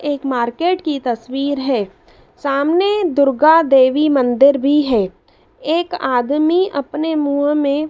एक मार्केट की तस्वीर है सामने दुर्गा देवी मंदिर भी है एक आदमी अपने मुंह में--